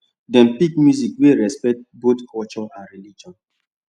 dem pick music wey respect both culture and religion